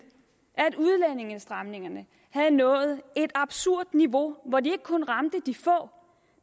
at udlændingestramningerne havde nået et absurd niveau hvor de ikke kun ramte de få